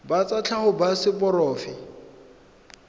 ba tsa tlhago ba seporofe